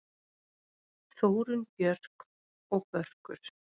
Þórunn Björk og Börkur.